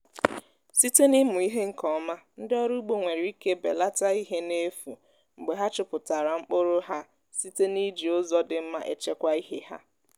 site n’ịmụ ihe nke ọma ndị ọrụ ugbo nwere ike belata ihe na-efu mgbe ha chụpụtara mkpụrụ ha site n’iji ụzọ dị mma echekwa ihe ha